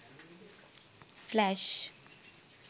flash